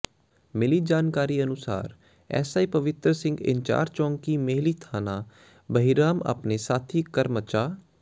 ਮਿਲੀ ਜਾਣਕਾਰੀ ਅਨੁਸਾਰ ਐੱਸਆਈ ਪਵਿੱਤਰ ਸਿੰਘ ਇੰਚਾਰਜ ਚੌਕੀ ਮੇਹਲੀ ਥਾਣਾ ਬਹਿਰਾਮ ਆਪਣੇ ਸਾਥੀ ਕਰਮਚਾ